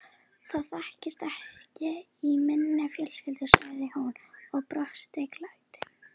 Það þekkist ekki í minni fjölskyldu sagði hún og brosti gleitt.